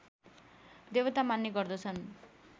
देवता मान्ने गर्दछन्